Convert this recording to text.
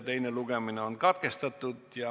Teine lugemine on katkestatud.